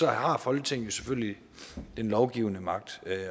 har folketinget selvfølgelig den lovgivende magt